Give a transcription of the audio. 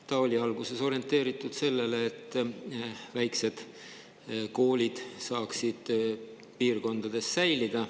See oli alguses orienteeritud sellele, et väiksed koolid saaksid piirkondades säilida.